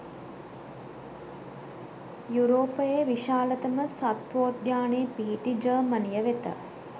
යුරෝපයේ විශාලතම සත්වෝද්‍යානය පිහිටි ජර්මනිය වෙත